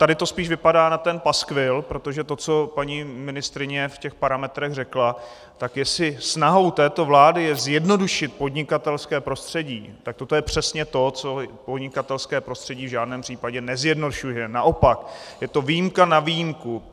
Tady to spíš vypadá na ten paskvil, protože to, co paní ministryně v těch parametrech řekla, tak jestli snahou této vlády je zjednodušit podnikatelské prostředí, tak toto je přesně to, co podnikatelské prostředí v žádném případě nezjednodušuje, naopak, je to výjimka na výjimku.